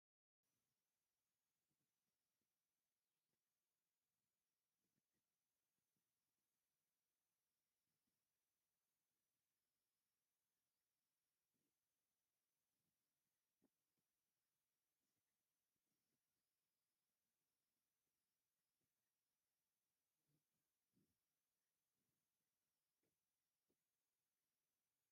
ኣብዚ ብዙሓት ካብተን ዌብካምና ኣብ ስክሪን ኮምፒተር ዝተተሓሓዛ እየን። ብዝተፈላለየ ዓቐንን ፍሉይ ኣቀማምጣን ተሰሪዖም ኣለዉ። ቡዝሓት ዌብካም ኣብ ስክሪን ተሰዂዐን ብመስርዕ ተሰሪዐን፡ ኩለን ንቪድዮ ምርኣይ ድሉዋት ኮይነን ይረኣያ ኣለዋ።